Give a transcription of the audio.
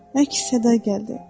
Əks-səda gəldi.